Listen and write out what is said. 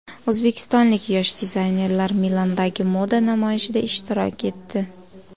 O‘zbekistonlik yosh dizaynerlar Milandagi moda namoyishida ishtirok etdi.